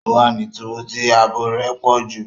O wa ní túbú tí ààbò rẹ pọju